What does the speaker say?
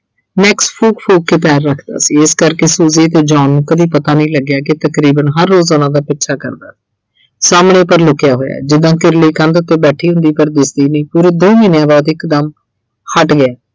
Max ਫੂਕ ਫੂਕ ਕੇ ਪੈਰ ਰੱਖਦਾ ਸੀ ਇਸ ਕਰਕੇ Suji ਤੇ John ਨੂੰ ਕਦੀ ਪਤਾ ਨਹੀਂ ਲੱਗਿਆ ਕਿ ਤਕਰੀਬਨ ਹਰ ਰੋਜ਼ ਉਹਨਾਂ ਦਾ ਪਿੱਛਾ ਕਰਦਾ। ਸਾਹਮਣੇ ਪਰ ਲੁਕਿਆ ਹੋਇਆ ਜਿਦਾਂ ਕਿਰਲੀ ਕੰਧ ਉੱਤੇ ਬੈਠੀ ਹੁੰਦੀ ਪਰ ਦਿਸਦੀ ਨਈ ਪੂਰੇ ਦੋ ਮਹੀਨਿਆਂ ਬਾਅਦ ਇੱਕਦਮ ਹਟ ਗਿਆ।